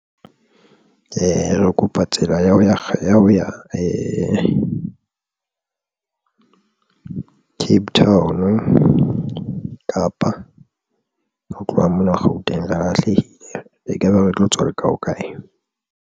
Re kopa tsela ya ho ya Cape Town, Kapa ho tloha mona Gauteng. Re lahlehile e kaba re tlo tswa leka ho kae?